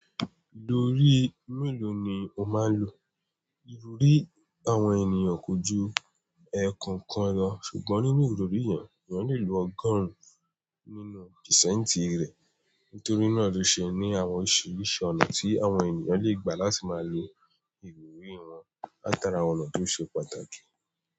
Ìdorí mélòó ni ó máa ń lò? Ìrorí àwọn ènìyàn kò ju ẹ̀ẹ̀kan kan lọ, ṣùgbọ́n nínú ìrorí yẹn, èèyàn lè lo ọgọ́rùn-ún nínú pìsàǹtì rẹ̀. Nítorí náà lo ṣe ni àwọn òṣìṣẹ́ ọnà tí àwọn ènìyàn lè gbà láti máa lo ìrírí wọn látara àwọn ọ̀nà tó ṣe pàtàkì.